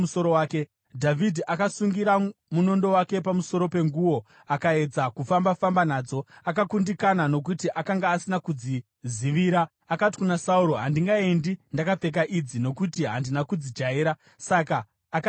Dhavhidhi akasungira munondo wake pamusoro penguo akaedza kufamba-famba nadzo akakundikana, nokuti akanga asina kudzizivira. Akati kuna Sauro, “Handingaendi ndakapfeka idzi, nokuti handina kudzijaira.” Saka akadzibvisa.